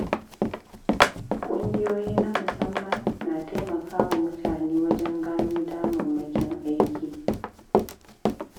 Ƙungiyoyi na musamman na taimaka wa mutane wajen gano damammakin aiki.